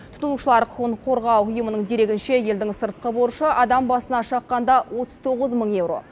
тұтынушылар құқығын қорғау ұйымының дерегінше елдің сыртқы борышы адам басына шаққанда отыз тоғыз мың еуро